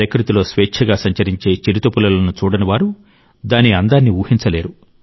ప్రకృతిలో స్వేచ్ఛగా సంచరించే చిరుతపులులను చూడని వారు దాని అందాన్ని ఊహించలేరు